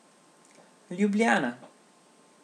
Ljubljana.